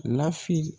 Lafili